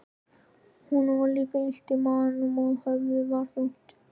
Honum var líka illt í maganum og höfuðið var þungt.